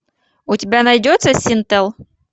у тебя найдется синтел